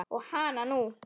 Og hananú!